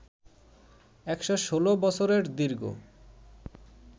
১১৬ বছরের দীর্ঘ